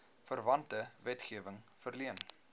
verwante wetgewing verleen